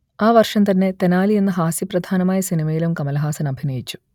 ആ വർഷം തന്നെ തെനാലി എന്ന ഹാസ്യപ്രധാനമായ സിനിമയിലും കമലഹാസൻ അഭിനയിച്ചു